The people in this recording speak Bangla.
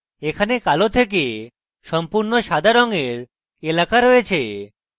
এখানে কালো থেকে সম্পূর্ণ সাদা রঙের এলাকা রয়েছে